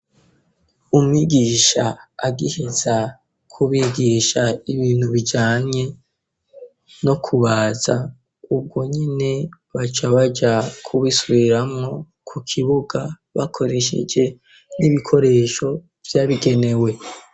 Umigisha agiheza kubigisha ibintu bijanye no kubaza ubwo nyene baca baja kubisubiramwo ku kibuga bakoresheje n'ibikoresho vyabigenewe.